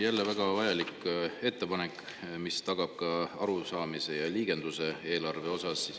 Jälle väga vajalik ettepanek, mis tagab ka arusaamise eelarve liigendusest.